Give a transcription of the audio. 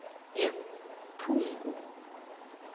ephugu